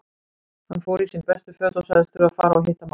Hann fór í sín bestu föt og sagðist þurfa að fara og hitta mann.